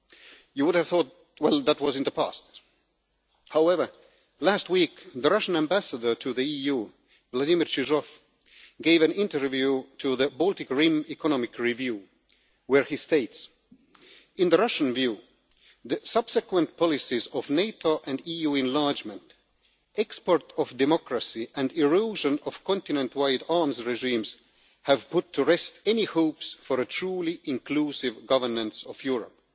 You would have thought that was in the past. However, last week, the Russian ambassador to the EU, Vladimir Chizhov, gave an interview to the Baltic Rim Economies Review where he states In the Russian view, the subsequent policies of NATO and EU enlargement, export of democracy and erosion of continent wide arms regimes have put to rest any hopes for a truly inclusive governance of Europe.'